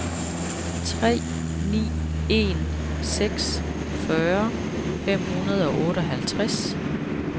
tre ni en seks fyrre fem hundrede og otteoghalvtreds